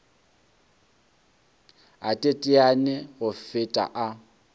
a teteane go feta a